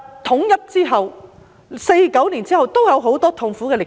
統一後，在1949年後也有很多痛苦的歷史。